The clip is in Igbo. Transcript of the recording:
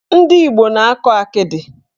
Ndị Igbo na-akọ akịdị.